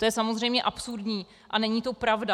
To je samozřejmě absurdní a není to pravda.